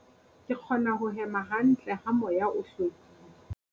Ke kgona ho hema hantle ha moya o hlwekile.